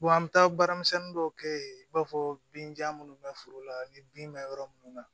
an bɛ taa baaramisɛnnin dɔw kɛ yen i b'a fɔ binja minnu bɛ foro la ni bin bɛ yɔrɔ minnu na